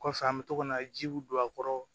Kɔfɛ an bɛ to ka na jiw don a kɔrɔ